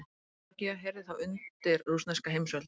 Georgía heyrði þá undir rússneska heimsveldið.